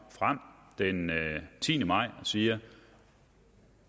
den tiende maj og siger